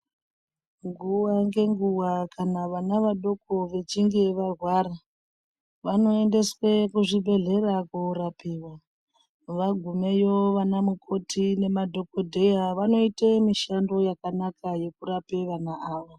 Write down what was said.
Nguwa ngenguwa kana vana vadoko vechinge varwara, vanoendeswe kuzvibhedhlera koorapiwa vagumeyo vana mukoti nema dhokodheya vanoite mushando yakanaka yekurape vana ava.